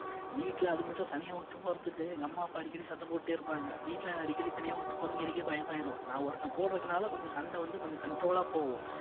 வீட்ல தனியா விட்டுட்டு போறதுக்கு எங்க அம்மா அப்பா அடிக்கடி சண்டை போட்டுட்டே இருப்பாங்க வீட்ல அடிக்கடி தனியா விட்டுட்டு போறதுக்கு எனக்கே பயமாயிரும் நான் ஒருத்தன் கூட இருக்கிறதனால கொஞ்சம் சண்டை வந்து கொஞ்சம் control ஆ போகும்